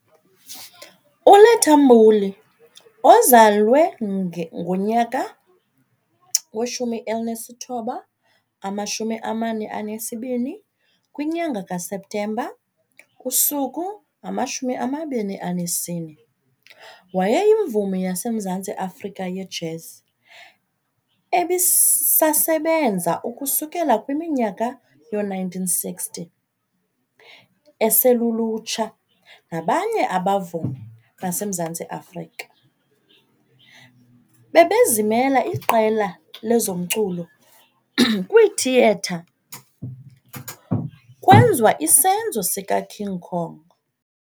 ULetta Mbulu, ozalwe ngonyaka we1942 kwinyanga kaSeptemba, usuku ngamashumi amabini anesine, wayeyimvumi yaseMzantsi Afrika yejazz ebisasebenza ukusukela kwiminyaka yo-1960, eselulutsha nabanye abavumi base Mzantsi Afrika, bebezimela iqela lezomculo kwithiyetha kwenzwa isenzo sika King Kong.